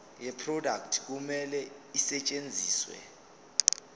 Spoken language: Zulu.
yeproduct kumele isetshenziswe